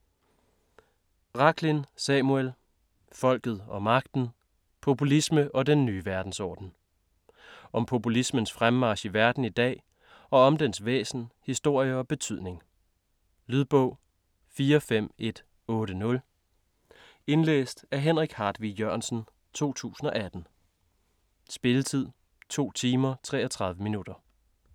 Rachlin, Samuel: Folket og magten: populisme og den nye verdensorden Om populismens fremmarch i verden i dag, og om dens væsen, historie og betydning. Lydbog 45180 Indlæst af Henrik Hartvig Jørgensen, 2018. Spilletid: 2 timer, 33 minutter.